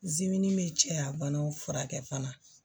bɛ cɛya banaw furakɛ fana